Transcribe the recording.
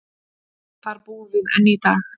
Þar búum við enn í dag.